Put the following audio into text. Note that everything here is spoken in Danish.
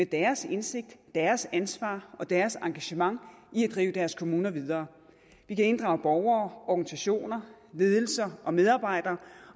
deres indsigt deres ansvar og deres engagement i at drive deres kommuner videre vi kan inddrage borgere organisationer ledelser og medarbejdere